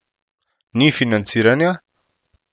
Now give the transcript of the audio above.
Ni financiranja?